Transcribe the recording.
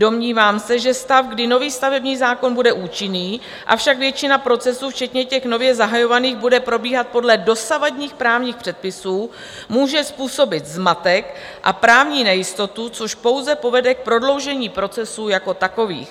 Domnívám se, že stav, kdy nový stavební zákon bude účinný, avšak většina procesů včetně těch nově zahajovaných bude probíhat podle dosavadních právních předpisů, může způsobit zmatek a právní nejistotu, což pouze povede k prodloužení procesů jako takových.